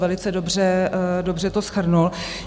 Velice dobře to shrnul.